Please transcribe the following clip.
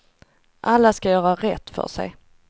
Alla ska göra rätt för sig.